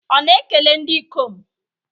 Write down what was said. Ọ na-ekele ndị ikom?